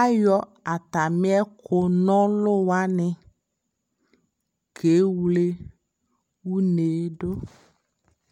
ayɔ atami ɛkʋ nɔlʋ wani kɛwlɛ ʋnɛ dʋ